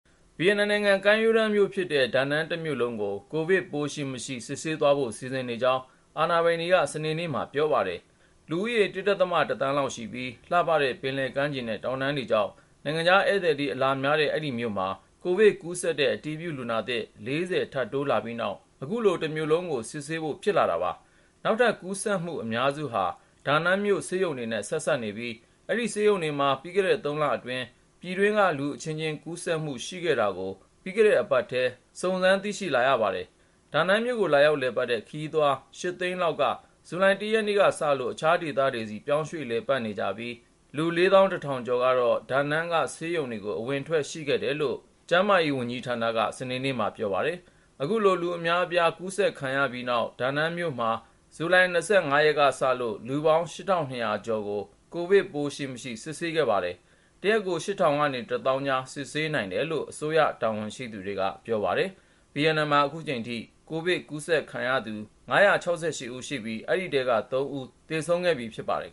ဗီယက်နမ်နိုင်ငံ ကမ်းရိုးတန်းမြို့ဖြစ်တဲ့ ဒါနန်းတမြို့လုံးကို ကိုဗစ်ပိုး ရှိမရှိ စစ်ဆေးသွားဖို့ စီစဉ်နေကြောင်း အာဏာပိုင်တွေက စနေနေ့မှာ ပြောပါတယ်။ လူဦးရေ ၁.၁ သန်းလောက်ရှိပြီး လှပတဲ့ ပင်လယ်ကမ်းခြေနဲ့ တောင်တန်းတွေကြောင့် နိုင်ငံခြားဧည့်သည် အလာများတဲ့ အဲဒီမြို့မှာ ကိုဗစ်ကူးစက်တဲ့ အတည်ပြုလူနာသစ် ၄၀ ထပ်တိုးလာပြီးနောက် အခုလို တမြို့လုံး စစ်ဆေးဖို့ ဖြစ်လာတာပါ။ နောက်ထပ်ကူးစက်မှု အများစုဟာ ဒါနန်းမြို့ ဆေးရုံတွေနဲ့ ဆက်စပ်နေပြီး အဲဒီဆေးရုံတွေမှာ ပြီးခဲ့တဲ့ ၃ လအတွင်း ပြည်တွင်းက လူအချင်းချင်းကူးစက်မှု ရှိခဲ့တာကို ပြီးခဲ့တဲ့အပတ်ထဲ စုံစမ်းသိရှိလာရပါတယ်။ ဒါနန်းမြို့ကို လာရောက်လည်ပတ်တဲ့ ခရီးသွား ၈ သိန်းလောက်က ဇူလိုင် ၁ ရက်နေ့ကစလို့ အခြားဒေသတွေဆီ ပြောင်းရွှေ့လည်ပတ်နေကြပြီး လူ ၄၁,၀၀၀ ကျော်ကတော့ ဒါနန်းက ဆေးရုံတွေကို အဝင်အထွက် ရှိခဲ့တယ်လို့ ကျန်းမာရေးဝန်ကြီးဌာနက စနေနေ့မှာ ပြောပါတယ်။ အခုလို လူအများအပြား ကူးစက်ခံရပြီးနောက် ဒါနန်းမြို့မှာ ဇူလိုင် ၂၅ ရက်ကစလို့ လူပေါင်း ၈,၂၀၀ ကျော်ကို ကိုဗစ်ရှိမရှိ စစ်ဆေးခဲ့ပါတယ်။ တရက်ကို ၈,၀၀၀ နဲ့ ၁၀,၀၀၀ ကြား စစ်ဆေးနိုင်တယ်လို့ အစိုးရတာဝန်ရှိသူတွေက ပြောပါတယ်။ ဗီယက်နမ်မှာ အခုချိန်ထိ ကိုဗစ်ကူးစက်ခံရသူ ၅၈၆ ဦးရှိပြီး အဲဒီထဲက ၃ ဦး သေဆုံးခဲ့ပြီ ဖြစ်ပါတယ်